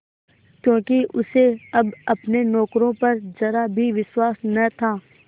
क्योंकि उसे अब अपने नौकरों पर जरा भी विश्वास न था